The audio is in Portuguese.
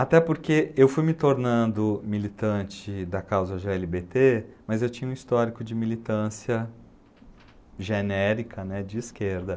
Até porque eu fui me tornando militante da causa gê ele bê tê, mas eu tinha um histórico de militância genérica, né, de esquerda.